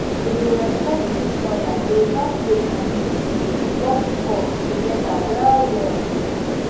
to dey respect each other dey help faith and medicine work pause together well well